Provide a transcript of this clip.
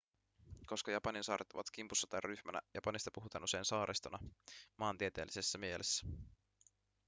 koska japanin saaret ovat kimpussa tai ryhmänä japanista puhutaan usein saaristona maantieteellisessä mielessä